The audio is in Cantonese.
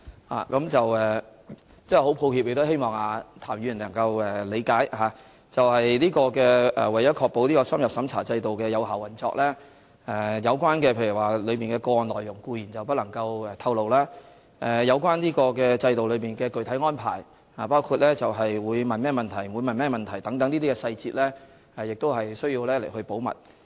我真的很抱歉，亦希望譚議員能夠理解，為了確保深入審查制度的有效運作，有關的個案內容固然不能透露，而該制度的具體安排，包括會詢問甚麼問題和不會詢問甚麼問題等細節，亦必須保密。